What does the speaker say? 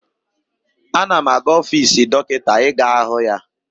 Ana m aga ọfiisi Dọkịta ị ga hụ ya.